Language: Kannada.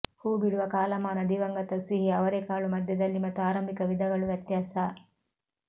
ಹೂಬಿಡುವ ಕಾಲಮಾನ ದಿವಂಗತ ಸಿಹಿ ಅವರೆಕಾಳು ಮಧ್ಯದಲ್ಲಿ ಮತ್ತು ಆರಂಭಿಕ ವಿಧಗಳು ವ್ಯತ್ಯಾಸ